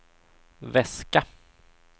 väska